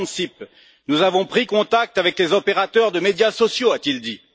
Ansip Nous avons pris contact avec les opérateurs de médias sociaux, a-t il dit.